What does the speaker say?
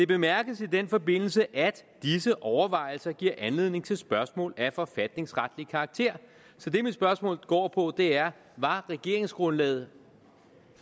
bemærkes i den forbindelse at disse overvejelser giver anledning til spørgsmål af forfatningsretlig karakter så det mit spørgsmål går på er var regeringsgrundlaget